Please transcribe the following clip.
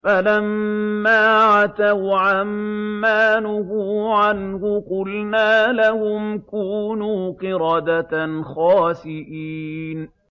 فَلَمَّا عَتَوْا عَن مَّا نُهُوا عَنْهُ قُلْنَا لَهُمْ كُونُوا قِرَدَةً خَاسِئِينَ